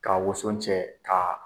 Ka wɔso cɛ k'a